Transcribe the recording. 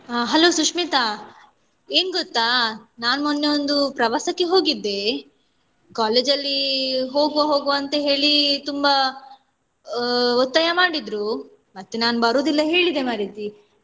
ಹ Hello ಸುಶ್ಮಿತಾ ಏನ್ ಗೊತ್ತಾ ನಾನ್ ಮೊನ್ನೆ ಒಂದು ಪ್ರವಾಸಕ್ಕೆ ಹೋಗಿದ್ದೆ college ಅಲ್ಲಿ ಹೋಗುವ ಹೋಗುವ ಅಂತ ಹೇಳಿ ತುಂಬ ಆ ಒತ್ತಾಯ ಮಾಡಿದ್ರು ಮತ್ತೆ ನಾನು ಬರುದಿಲ್ಲ ಹೇಳಿದೆ ಮಾರೈತಿ.